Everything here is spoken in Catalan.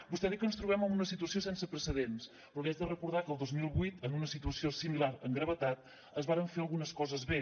vostè ha dit que ens trobem en una situació sense precedents però li haig de recordar que el dos mil vuit en una situació similar en gravetat es varen fer algunes coses bé